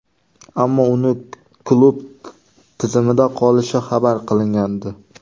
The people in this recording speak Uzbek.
Ammo uning klub tizimida qolishi xabar qilingandi.